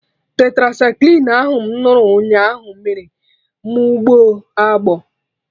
Tetracycline ahụ mụ ṅụrụ nyaa ahụ mere mụ gbọọ agbọ